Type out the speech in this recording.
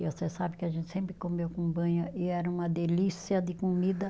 E você sabe que a gente sempre comeu com banha e era uma delícia de comida.